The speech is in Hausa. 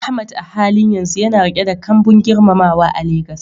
Ahmad a halin yanzu yana riƙe da kambun girmamawa a Legas.